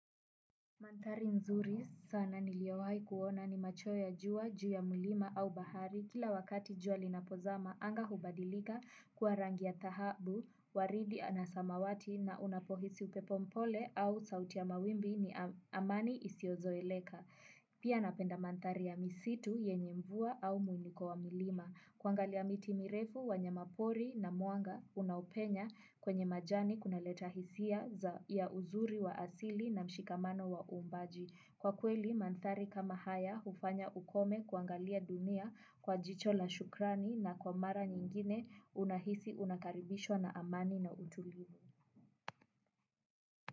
Mandhari nzuri sana niliowahi kuona ni macho ya jua, juu ya mlima au bahari kila wakati jua linapozama anga hubadilika kuwa rangi ya dhahabu, waridi anasamawati na unapohisi upepo mpole au sauti ya mawimbi ni amani isiozoeleka. Pia napenda mandhari ya misitu yenye mvua au muinuko wa mlima. Kuangalia miti mirefu wanyamapori na mwanga unaupenya kwenye majani kuna leta hisia ya uzuri wa asili na mshikamano wa uumbaji. Kwa kweli, mandhari kama haya hufanya ukome kuangalia dunia kwa jicho la shukrani na kwa mara nyingine unahisi unakaribishwa na amani na utulivu.